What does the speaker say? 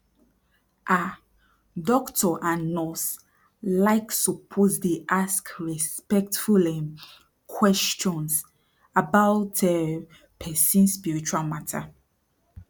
ah doctor and nurse like suppose dey ask respectful um questions about um person spiritual mata